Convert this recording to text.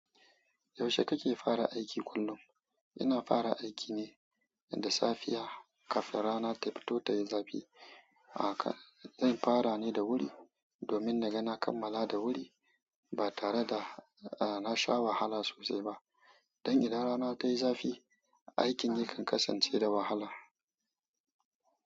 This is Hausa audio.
Yaushe kake fara aiki kullum? Ina fara aiki ne da safiya kafin rana ta fito ta yi zafi. A ka- zan fara ne da wuri domin na ga na kammala da wuri ba tare da a na sha wahala sosai ba. Don idan rana ta yi zafi, aikin yakan kasance da wahala.